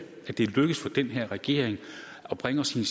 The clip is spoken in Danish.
at det er lykkedes for den her regering at bringe os i